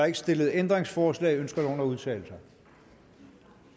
ikke stillet ændringsforslag ønsker nogen at udtale sig